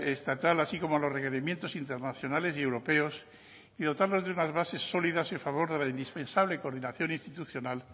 estatal así como a los requerimientos internacionales y europeos y dotándonos de unas bases sólidas y en favor dispensable coordinación institucional